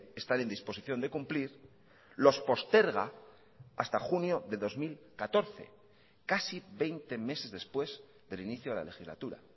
están en disposición de cumplir los posterga hasta junio de dos mil catorce casi veinte meses después del inicio de la legislatura